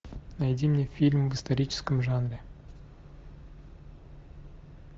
найди мне фильм в историческом жанре